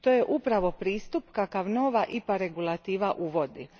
To je upravo pristup kakav nova IPA regulativa uvodi.